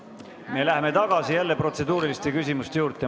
Me läheme jälle tagasi protseduuriliste küsimuste juurde.